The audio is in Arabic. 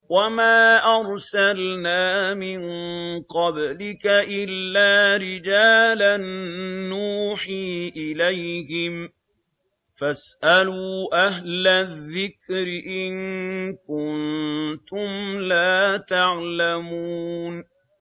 وَمَا أَرْسَلْنَا مِن قَبْلِكَ إِلَّا رِجَالًا نُّوحِي إِلَيْهِمْ ۚ فَاسْأَلُوا أَهْلَ الذِّكْرِ إِن كُنتُمْ لَا تَعْلَمُونَ